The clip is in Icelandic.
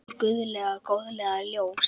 Hið guðlega góðlega ljós.